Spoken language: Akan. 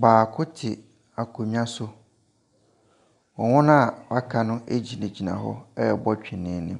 Baako te akonnwa so. Na wɔn a wɔaka no gyinagyina hɔ rebɔ twene no.